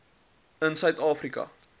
in suid afrika